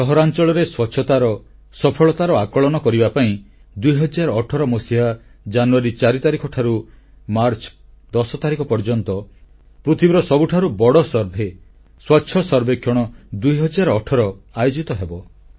ସହରାଂଚଳରେ ସ୍ୱଚ୍ଛତାର ସଫଳତାର ଆକଳନ କରିବା ପାଇଁ 2018 ମସିହା ଜାନୁଆରୀ 4 ତାରିଖଠାରୁ ମାର୍ଚ୍ଚ 10 ତାରିଖ ପର୍ଯ୍ୟନ୍ତ ପୃଥିବୀର ସବୁଠାରୁ ବଡ଼ ସର୍ଭେ ସ୍ୱଚ୍ଛ ସର୍ବେକ୍ଷଣ 2018 ଆୟୋଜନ କରାଯିବ